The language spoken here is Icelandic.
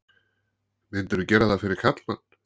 Mundirðu gera það fyrir karlmann?